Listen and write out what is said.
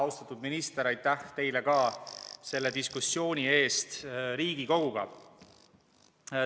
Austatud minister, aitäh ka teile selle diskussiooni eest!